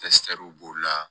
b'o la